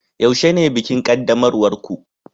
yaushe ne bikin qaddamarwar ku